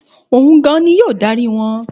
Òun gan-an ni yóò dárí wọn.